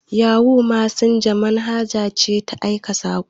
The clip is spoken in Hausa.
Yahu mesenja manhaja ce ta aika saƙo.